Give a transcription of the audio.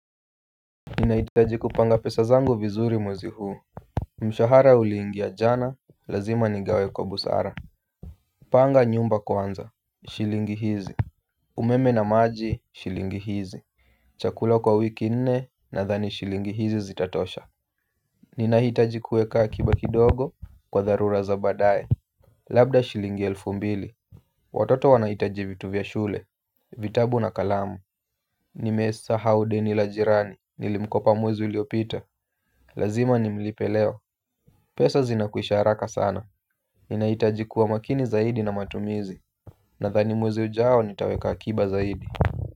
Ninahitaji kupanga pesa zangu vizuri mwezi huu. Mshahara uliingia jana, lazima nigawe kwa busara panga nyumba kwanza, shilingi hizi umeme na maji, shilingi hizi chakula kwa wiki nne nadhani shilingi hizi zitatosha. Ninahitaji kuweka akiba kidogo kwa dharura za badaye. Labda shilingi elfu mbili. Watoto wanahitaji vitu vya shule vitabu na kalamu. Nimesahau deni la jirani, nilimkopa mwezi uliopita. Lazima nimlipe leo. Pesa zinakwisha haraka sana. Ninahitaji kuwa makini zaidi na matumizi. Nadhani mwezi ujao nitaweka akiba zaidi.